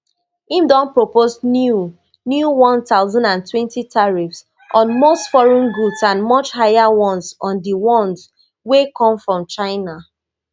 im don propose new new one thousand and twenty tariffs on most foreign goods and much higher ones on di ones wey come from china